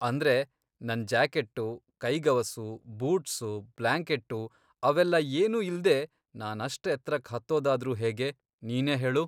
ಅಂದ್ರೆ, ನನ್ ಜಾಕೆಟ್ಟು, ಕೈಗವಸು, ಬೂಟ್ಸು, ಬ್ಲಾಂಕೆಟ್ಟು ಅವೆಲ್ಲ ಏನೂ ಇಲ್ದೇ ನಾನಷ್ಟ್ ಎತ್ರಕ್ ಹತ್ತೋದಾದ್ರೂ ಹೇಗೆ? ನೀನೇ ಹೇಳು!